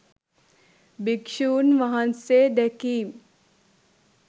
භික්‍ෂූන්වහන්සේ දැකීම්